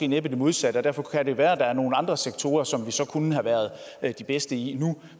næppe det modsatte og derfor kan det være at der er nogle andre sektorer som vi så kunne have været de bedste i nu